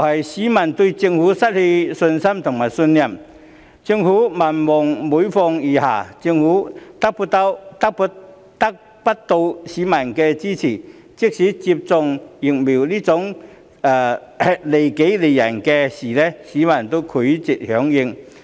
市民對政府失去信心和信任，政府民望每況愈下，得不到市民的支持，即使是接種疫苗這種利己利人的事，市民也拒絕響應。